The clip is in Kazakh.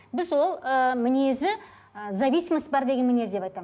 біз ол ыыы мінезі ы зависимость бар деген мінез деп айтамын